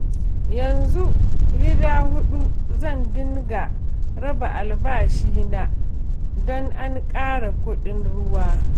Yanzu gida huɗu zan dinga raba albashina don an ƙara kuɗin ruwa